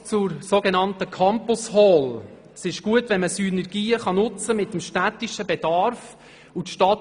Ein Wort zur so genannten Campus Hall: Es ist gut, wenn Synergien mit dem städtischen Bedarf genutzt werden können.